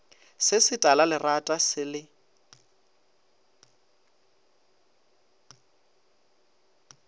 se se talalerata se le